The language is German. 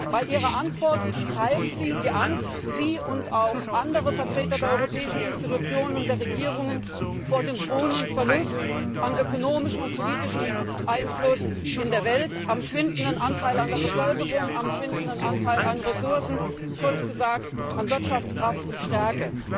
Bei Ihrer Antwort treibt Sie die Angst, Sie und auch andere Vertreter der Europäischen Institutionen und der Regierungen, vor dem drohenden Verlust an ökonomischem und politischem Einfluss in der Welt, vor dem schwindenden Anteil an der Bevölkerung und dem schwindenden Anteil an Ressourcen kurz gesagt an Wirtschaftskraft und Stärke.